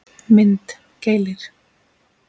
Mynd: Keilir